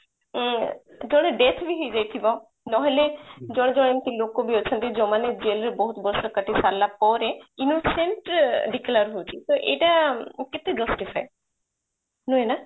ଜଣେ death ବି ହେଇଯାଇଥିବ ନହେଲେ ଜଣେ ଜଣେ ଏମିତି ଲୋକ ବି ଅଛନ୍ତି ଯୋଉ ମାନେ jail ରେ ବହୁତ ବର୍ଷ କଟେଇ ସାରିଲା ପରେ innocent declare ହଉଛି ତ ଏଇଟା କେତେ justify ନୁହେଁ ନା